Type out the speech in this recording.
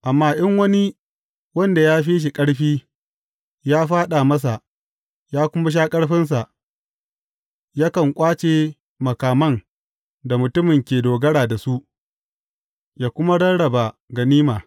Amma in wani wanda ya fi shi ƙarfi, ya faɗa masa ya kuma sha ƙarfinsa, yakan ƙwace makaman da mutumin ke dogara da su, ya kuma rarraba ganima.